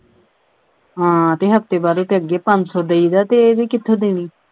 ਹਾਂ ਤੇ ਹਫ਼ਤੇ ਬਾਅਦ ਉਹਦੇ ਅੱਗੇ ਪੰਜ ਸੌ ਦੇਈਦਾ ਤੇ ਇਹ ਵੀ ਕਿਥੋਂ ਦੇਣੀ?